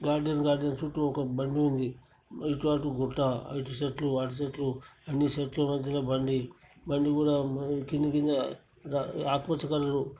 garden-garden చుట్టూ ఒక బండి ఉంది ఇటు అటు గుట్ట ఇటు చెట్లు అటు చెట్లు అన్ని చెట్ల మధ్య లో బండి బండి కూడా కింద కింద ఆకుపచ్చ కలర్ --